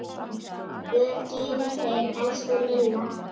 Guð geymi þig, elsku Lilla.